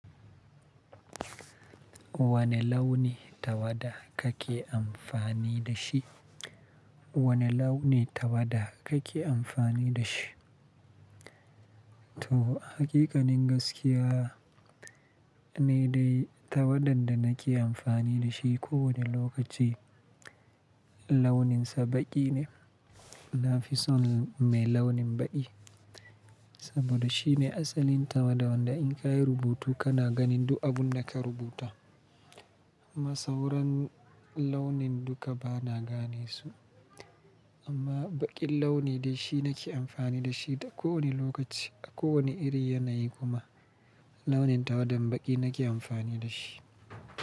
Wane launi tawada kake amfani da shi? Wane launi tawada kake amfani da shi? To, haƙiƙanin gaskiya ne dai tawadan da nake amfani da shi ko wane lokaci launinsa baƙi ne. Na fi son mai launin baƙi saboda shi ne asalin tawada wanda in ka yi rubutu kana ganin duk abun da ka rubuta. Ma sauran launin dukka bana gane su amma baƙin launi dai shi nake amfani da shi da kowane lokaci a kowane iri yanayi kuma launin tawadan baƙi nake amfani da shi.